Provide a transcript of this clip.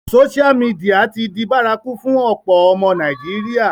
Sósial mìdìya ti di bárakú fún ọ̀pọ̀ ọmọ Nàìjíríà